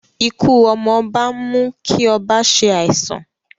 Ikú ọmọ ọba ń mú kí ọba se àìsàn